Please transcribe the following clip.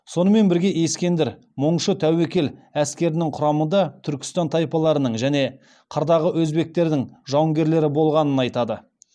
сонымен бірге ескендір мұңшы тәуекел әскерінің құрамында түркістан тайпаларының және қырдағы өзбектердің жауынгерлері болғанын айтады